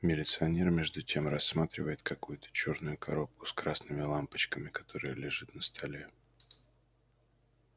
милиционер между тем рассматривает какую-то чёрную коробку с красными лампочками которая лежит на столе